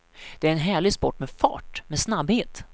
Det är en härlig sport med fart, med snabbhet.